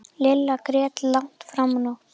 Lilla grét langt fram á nótt.